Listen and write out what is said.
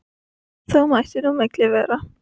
En þó mætti nú á milli vera.